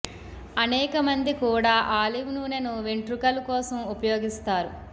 అనేకమంది కూడా ఆలివ్ నూనెను వెంట్రుకలు కోసం ఉపయోగిస్తారు